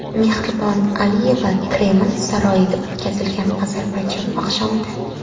Mehribon Aliyeva Kreml saroyida o‘tkazilgan Ozarbayjon oqshomida.